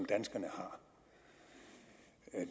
danskerne